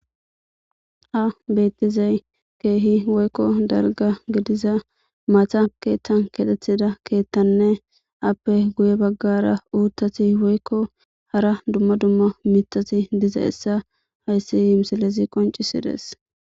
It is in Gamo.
A bettizay keehi woykko dalga gediza mata keeththan katethida keethtanne appe guye baggara uuttati woykko hara dumma dumma mitasi diza essa hayssi yiumsalezi qoncisides.